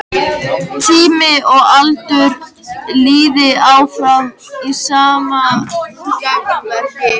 Tími og aldur líði áfram í sama gangverki.